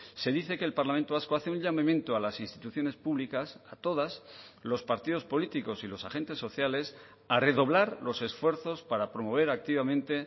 se dice que el parlamento vasco hace un llamamiento a las instituciones públicas a todas los partidos políticos y los agentes sociales a redoblar los esfuerzos para promover activamente